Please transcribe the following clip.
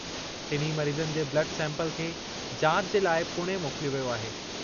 टिन्ही मरीज़नि जे ब्लड सैंपल खे जाच जे लाइ पुणे मोकिलियो वियो आहे।